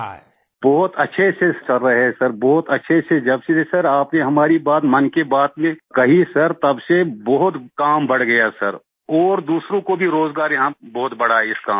मंजूर जी बहुत अच्छे से चल रहा है सर बहुत अच्छे से जब से सर आपने हमारी बात मन की बात में कही सर तब से बहुत काम बढ़ गया सर और दूसरों को भी रोज़गार यहाँ बहुत बढ़ा है इस काम में